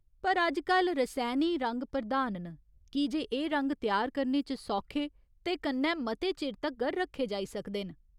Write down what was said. पर अजकल रसैनी रंग प्रधान न, की जे एह् रंग त्यार करने च सौखे ते कन्नै मते चिर तगर रक्खे जाई सकदे न।